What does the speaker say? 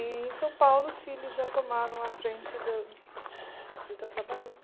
E em São Paulo os filhos já tomaram a frente do de estar trabalhando.